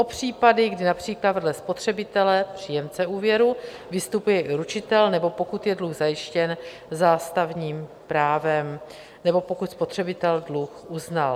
O případy, kdy například vedle spotřebitele, příjemce úvěru, vystupuje i ručitel, nebo pokud je dluh zajištěn zástavním právem, nebo pokud spotřebitel dluh uznal.